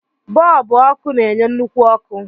Bọlbụ ọkụ na-enye nnukwu ọkụ.